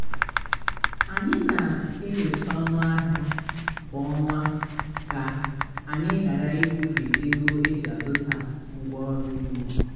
anyị na-enyocha ọnụ ahịa kwa ọnwa ka-anyi ghara ikwufe ego eji azụta ngwa ọrụ ugbo